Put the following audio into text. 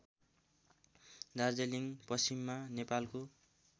दार्जीलिङ पश्चिममा नेपालको